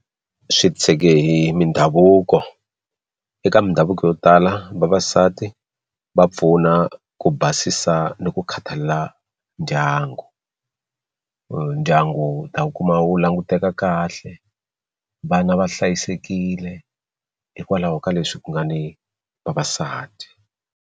Swi titshege hi mindhavuko eka mindhavuko yo tala vavasati va pfuna ku basisa ni ku khathalela ndyangu ndyangu ta wu kuma wu languteka kahle vana va hlayisekile hikwalaho ka leswi ku nga ni vavasati.